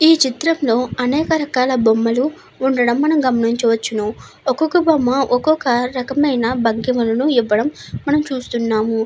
ఈ చిత్రంలో అనేక రకాల బొమ్మలు ఉండడం మనం గమనించవచ్చును. ఒక్కొక్క బొమ్మ ఒక్కొక రకమైన భంగిమలను ఇవ్వడం మనము చూస్తున్నాము.